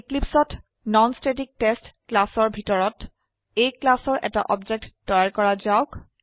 Eclipseত non static test ক্লাসৰ ভিতৰত A ক্লাসৰ এটা অবজেক্ট তৈয়াৰ কৰা যাওক